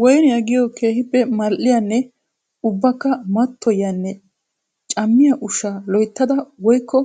Woynniya giyo keehippe mali'iyanne ubbakka mattoyiyanne cammiya ushsha loyttadda woykko